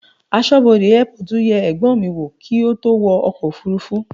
Aṣọ́bodè airport yẹ ẹ̀gbọ́n mi wò kí ó tó wo ọkọ̀ òfúrúfú.